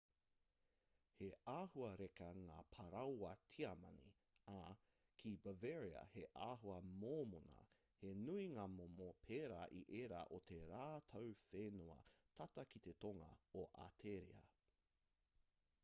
he āhua reka ngā parāoa tiamani ā ki bavaria he āhua mōmona he nui ngā momo pērā i ērā o tā rātou whenua tata ki te tonga o ateria